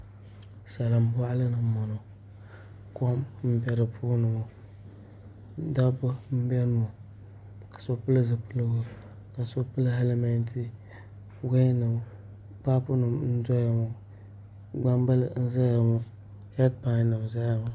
Salin boɣali ni n boŋo kom n bɛ di puuni ŋo dabba n biɛni ŋo so pili zipiligu ka so pili hɛlmɛnti paapu nim n doya ŋo gbambili n ʒɛya ŋo heed pai nim n ʒɛya ŋo